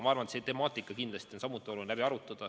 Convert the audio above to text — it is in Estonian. Ma arvan, et see temaatika kindlasti on samuti oluline läbi arutada.